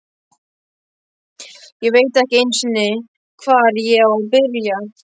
Ég veit ekki einu sinni, hvar ég á að byrja.